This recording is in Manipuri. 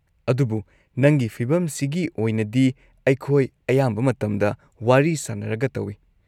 ꯑꯗꯨꯕꯨ ꯅꯪꯒꯤ ꯐꯤꯚꯝꯁꯤꯒꯤ ꯑꯣꯏꯅꯗꯤ, ꯑꯩꯈꯣꯏ ꯑꯌꯥꯝꯕ ꯃꯇꯝꯗ ꯋꯥꯔꯤ ꯁꯥꯅꯔꯒ ꯇꯧꯏ꯫